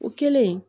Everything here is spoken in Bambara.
O kɛlen